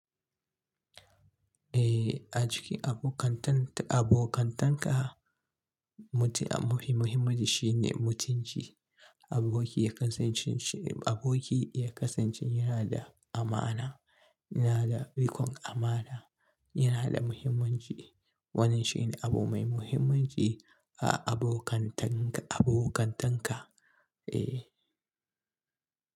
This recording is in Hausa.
Eh, a cikin abokanta abokantanka, mutum mafi muhimmanci shine mutunci. Aboki ya kasance shi aboki ya kasance yana da amana, yana da rikon amana, yana da muhimmanci. Wannan shine abu mai muhimmanci a abokantanka, abokantanka, eh.